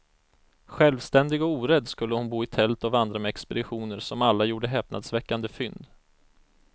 Självständig och orädd skulle hon bo i tält och vandra med expeditioner som alla gjorde häpnadsväckande fynd.